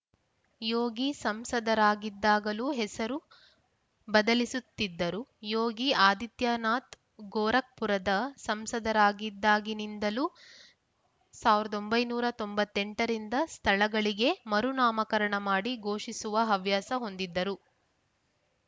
ಯೋಗಿ ಸಂಸದರಾಗಿದ್ದಾಗಲೂ ಹೆಸರು ಬದಲಿಸುತ್ತಿದ್ದರು ಯೋಗಿ ಆದಿತ್ಯನಾಥ್‌ ಗೋರಖ್‌ಪುರದ ಸಂಸದರಾದಾಗಿನಿಂದಲೂ ಸಾವಿರದ ಒಂಬೈನೂರ ತೊಂಬತ್ತ್ ಎಂಟರಿಂದ ಸ್ಥಳಗಳಿಗೆ ಮರುನಾಮಕರಣ ಮಾಡಿ ಘೋಷಿಸುವ ಹವ್ಯಾಸ ಹೊಂದಿದ್ದರು